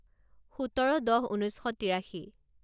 সোতৰ দহ ঊনৈছ শ তিৰাশী